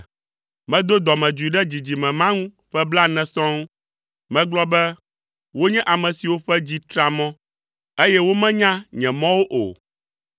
Medo dɔmedzoe ɖe dzidzime ma ŋu ƒe blaene sɔŋ, megblɔ be, “Wonye ame siwo ƒe dzi tra mɔ, eye womenya nye mɔwo o.”